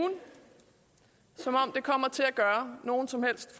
som om det kommer til at gøre nogen som helst